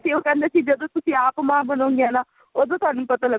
ਉਹ ਕਹਿੰਦੇ ਸੀ ਜਦੋਂ ਤੁਸੀਂ ਆਪ ਮਾਂ ਬਣੋਗੀਆ ਨਾ ਉਦੋਂ ਤੁਹਾਨੂੰ ਪਤਾ ਲੱਗੂਗਾ